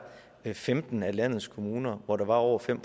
femten af landets kommuner hvor der var over fem